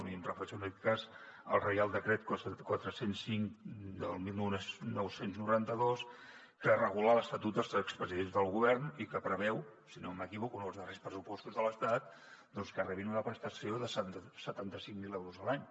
i em refereixo en aquest cas al reial decret quatre cents i cinc del dinou noranta dos que regula l’estatut dels expresidents del govern i que preveu si no m’equivoco en els darrers pressupostos de l’estat doncs que rebin una prestació de setanta cinc mil euros a l’any